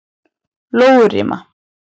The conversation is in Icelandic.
Lóurima